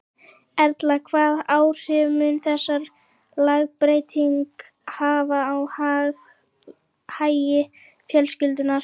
Erla, hvað áhrif mun þessi lagabreyting hafa á hagi fjölskyldunnar?